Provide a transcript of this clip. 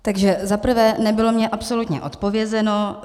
Takže za prvé - nebylo mně absolutně odpovězeno.